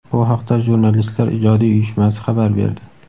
Bu haqda Jurnalistlar ijodiy uyushmasi xabar berdi.